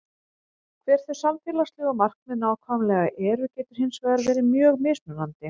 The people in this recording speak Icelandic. Hver þau samfélagslegu markmið nákvæmlega eru getur hins vegar verið mjög mismunandi.